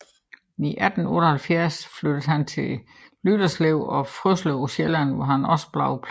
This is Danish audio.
I 1878 flyttede han til Lyderslev og Frøslev på Sjælland hvor han også blev præst